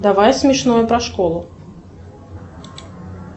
давай смешное про школу